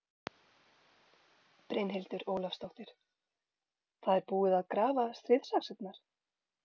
Brynhildur Ólafsdóttir: Það er búið að grafa stríðsaxirnar?